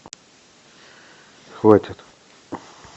хватит